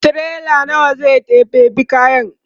tirela nawa zai ɗeba be kayan?